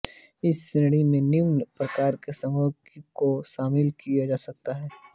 इस श्रेणी में निम्न प्रकार के संघर्षों को सम्मिलित किया जा सकता है